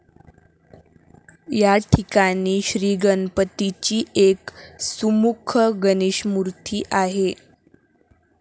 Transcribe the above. याठिकाणी श्रीगणपतीची एक 'सुमुख गणेशमूर्ती' आहे.